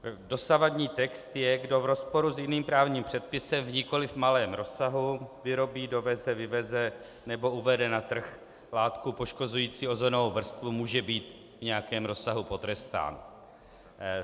Dosavadní text je: Kdo v rozporu s jiným právním předpisem v nikoliv malém rozsahu vyrobí, doveze, vyveze nebo uvede na trh látku poškozující ozónovou vrstvu, může být v nějakém rozsahu potrestán.